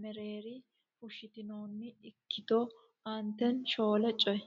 Mereeri fushshitinoonni ikkito aantenni shoole coyi.